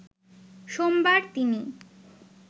সোমবার তিনি